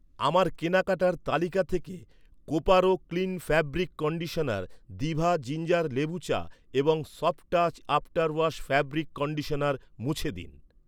আমার কেনাকাটার তালিকা থেকে Coparo clean fabric conditioner, Diva ginger লেবু চা এবং Softouch after wash fabric conditioner মুছে দিন।